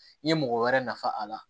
I ye mɔgɔ wɛrɛ nafa a la